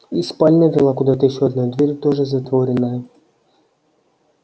из спальни вела куда-то ещё одна дверь тоже затворенная